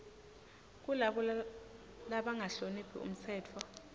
kulabo labangahloniphi umtsetfo